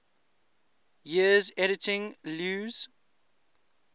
years editing lewes's